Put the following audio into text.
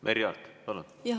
Merry Aart, palun!